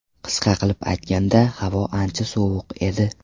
Qisqa qilib aytganda, havo ancha sovuq edi.